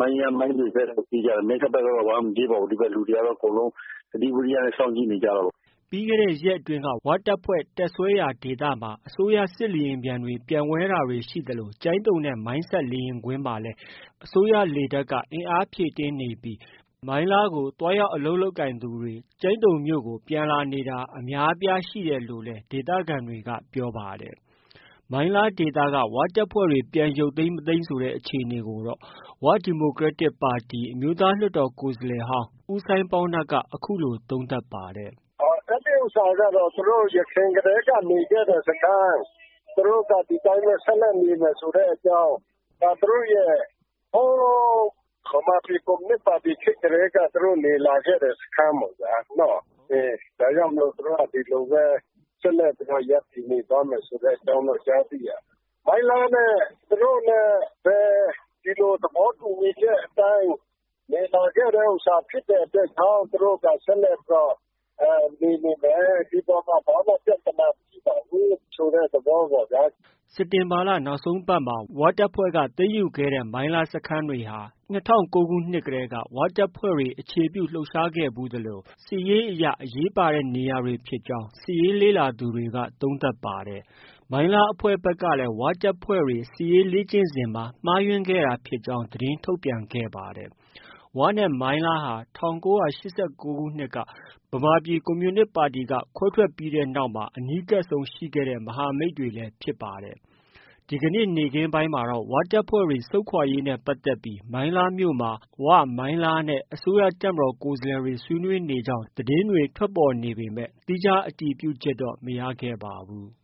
မိုင်းယန်း မိုင်းလွေ- ဘက်ပြေးကြတယ်။ မိုင်းခတ်ဘက်တော့မပြေးပါဘူး ဒီမှာကလူတွေက အကုန်လုံး သတိဝီရိယနဲ့ စောင့်ကြည့်နေကြတာပေါ့။” ပြီးခဲ့တဲ့ ရက်အတွင်းက ဝတပ်ဖွဲ့ တပ်စွဲရာဒေသမှာ အစိုးရစစ်လေယာဉ်တွေ ပျံဝဲတာတွေရှိနေသလို ကျိုင်းတုံနဲ့ မိုင်းဆတ်လေယာဉ်ကွင်းမှာ လေတပ်က အင်အားဖြည့်တင်းနေပြီး မိုင်းလားကို သွားရောက်အလုပ် လုပ်ကိုင်သူတွေ ကျိုင်းတုံမြို့ကို ပြန်လာနေတာတွေ အများအပြားရှိနေတယ်လို့လည်း ဒေသခံတွေ ကပြောပါတယ်။ မိုင်းလားဒေသက ဝတပ်ဖွဲ့တွေ ပြန်ရုတ်သိမ်း မသိမ်းဆိုတဲ့ အခြေအနေကိုတော့ ဝ ဒီမိုကရက်တစ်ပါတီက အမျိုးသား လွှတ်တော် ကိုယ်စားလှယ်ဟောင်း ဦးစိုင်းပေါင်းနပ်က အခုလို သုံးသပ်ပါတယ်။ “အဲဒီဟာကတော့ ကျနော်တို့ ယခင်ကတည်းကနေ နေတဲ့စခန်း သူတို့က ဒီအတိုင်းပဲ ဆက်လက်နေမယ်ဆိုတဲ့အတွက် သူတို့ရဲ့ မြန်မာပြည် ကွန်မြူနစ်ပါတီကတည်းက သူတို့နေလာခဲ့တဲ့ စခန်းပေါ့ဗျာ။ ဒါကြောင့်မို့လို့ သူတို့က ဒီလိုပဲ ဆက်လက်ပြီးတော့ ရပ်တည်နေသွားမယ်ဆိုတဲ့အကြောင်းတော့ ကြားသိရတယ်။ မိုင်းလားနဲ့ သူတို့နဲ့လည်း ဒီလိုသဘောတူညီချက်အတိုင်း နေလာခဲ့တာ ဖြစ်တဲ့အတွက်ကြောင့် သူတို့ဆက်လက်ပြီးတော့ နေနေမယ်။ ဒီအပေါ်မှာ ဘာမှ ပြဿနာမရှိပါဘူးဆိုတဲ့သဘောအတိုင်း” စက်တင်ဘာလ နောက်ဆုံးပတ်မှာ ဝတပ်ဖွဲ့က မိုင်းလား စခန်းတွေကို သိမ်းယူခဲ့တဲ့နေရာတွေဟာ ၂၀၀၉ခုနှစ်ကတည်းက ဝတပ်ဖွဲ့တွေ အခြေပြုခဲ့ဖူးသလို စစ်ရေးအရ အရေးပါတဲ့နေရာတွေဖြစ်ကြောင်း စစ်ရေးလေ့လာသူတွေက သုံးသပ်ပါတယ်။မိုင်းလားအဖွဲ့ဖက်ကလည်း ဝတပ်ဖွဲ့တွေ စစ်ရေးလေ့ကျင့်စဉ်မှာ မှားယွင်းခဲ့တာဖြစ်ကြောင်း သတင်းထုတ်ပြန်ခဲ့ပါတယ်။ ဝနဲ့ မိုင်းလားဟာ ၁၉၈၉ခုနှစ် ဗမာပြည်ကွန်မြူနစ်ပါတီက ခွဲထွက်ပြီးနောက် အနီးကပ်ဆုံးရှိခဲ့တဲ့ မဟာမိတ်တွေလည်း ဖြစ်ပါတယ်။ ဒီကနေ့ နေ့ခင်းပိုင်းမှာတော့ ဝတပ်ဖွဲ့တွေ ဆုတ်ခွာရေးနဲ့ပတ်သက်ပြီး မိုင်းလားမြို့မှာ ဝ၊ မိုင်းလားနဲ့ အစိုးရတပ်မတော်ကိုယ်စားလှယ်တွေ ဆွေးနွေးနေကြောင်း သတင်းတွေ ထွက်ပေါ်နေပေမဲ့ သီးခြား အတည်ပြုချက်မရခဲ့ပါဘူး။